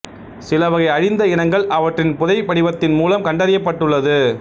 சிலவகை அழிந்த இனங்கள் அவற்றின் புதை படிவத்தின் மூலம் கண்டறியப் பட்டுள்ளது